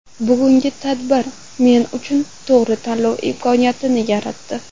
Bugungi tadbir men uchun to‘g‘ri tanlov imkoniyatini yaratdi.